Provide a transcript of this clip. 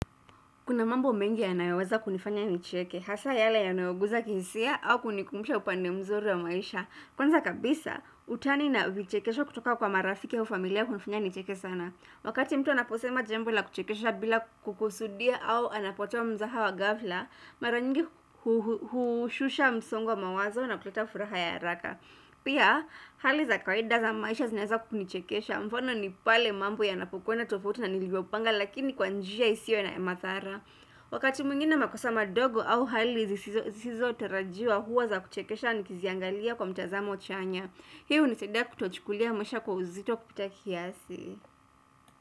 Kuna mambo mengi yanayoweza kunifanya nicheke, hasa yale yanayoguza kihisia au kunikumbusha upande mzuri wa maisha. Kwanza kabisa, utani na vichekesho kutoka kwa marafiki au familia hunifanya nicheke sana. Wakati mtu anaposema jambo la kuchekesha bila kukusudia au anapotoa mzaha wa gafla, maranyingi hushusha msongowa mawazo na kuleta furaha ya haraka. Pia, hali za kwaida za maisha zinaweza kunichekesha mfano ni pale mambo ya napokwenda tofauti na nilivyopanga lakini kwanjia isiyo ya madhara Wakati mwingine makosama ndogo au hali zisizo tarajiwa huwa za kuchekesha ni kiziangalia kwa mtazamo chanya Hii hunisaidia kutochukulia maisha kwa uzito kupita kiasi.